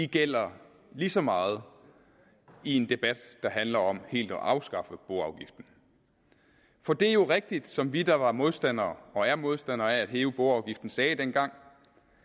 gælder lige så meget i en debat der handler om helt at afskaffe boafgiften for det er jo rigtigt som vi der var modstandere og er modstandere af at hæve boafgiften sagde dengang